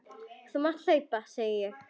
Þú mátt hlaupa, segi ég.